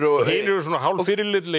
og hinir eru svona hálf